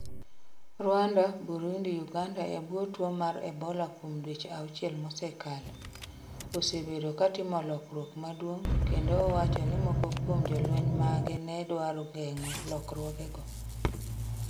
Rwanda, Burundi Uganda e bwo tuo mar Ebola Kuom dweche auchiel mosekalo, osebedo ka otimo lokruok madongo kendo owacho ni moko kuom jolweny mage ne dwaro geng'o lokruogego.